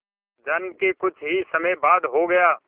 जन्म के कुछ ही समय बाद हो गया